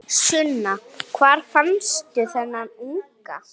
Sunna: Hvar fannstu þennan unga?